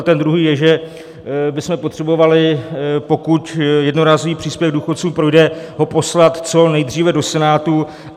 A ten druhý je, že bychom potřebovali, pokud jednorázový příspěvek důchodcům projde, ho poslat co nejdříve do Senátu.